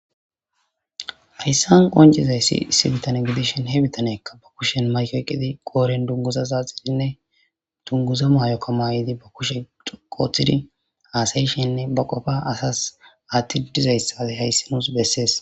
ayssan qoncizayssi issi bitane gidishin he bitanekka ba kushen maykey qidi qooren dunguza zaaxidinne dunguza maayokka maayidi ba kushe qooththidi haasayishenne ba qofa asas aatti ddizayssae hayssi nuus bessees